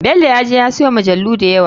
Belo ya je ya siyo majalu dayawa.